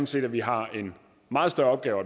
set at vi har en meget større opgave